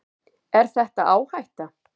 Er þetta áhætta?